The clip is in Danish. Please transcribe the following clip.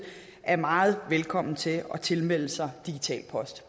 er meget velkommen til at tilmelde sig digital post